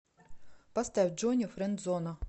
поставь джони френдзона